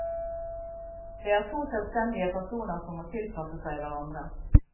Det er to selvstendige personer som må tilpasse seg hverandre.